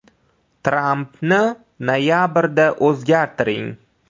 “Trampni noyabrda o‘zgartiring”.